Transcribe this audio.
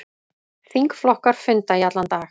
Þingflokkar funda í allan dag